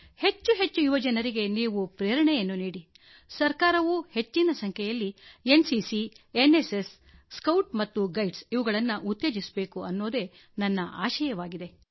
ಹೆಚ್ಚು ಹೆಚ್ಚು ಯುವಜನರಿಗೆ ನೀವು ಪ್ರೇರಣೆಯನ್ನು ನೀಡಿ ಸರಕಾರವೂ ಹೆಚ್ಚಿನ ಸಂಖ್ಯೆಯಲ್ಲಿ N C C N S S ಮತ್ತು ಸ್ಕೌಟ್ಸ್ ಮತ್ತು ಗೈಡ್ಸ್ ಇವುಗಳನ್ನು ಉತ್ತೇಜಿಸಬೇಕು ಅನ್ನೋದು ನನ್ನ ಆಶಯವಾಗಿದೆ